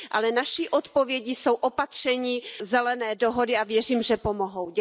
Ale naší odpovědí jsou opatření Zelené dohody a věřím, že pomohou.